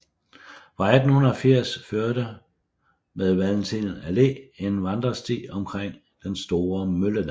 Fra 1880 førte med Valentin Allé en vandresti omkring den Store Mølledam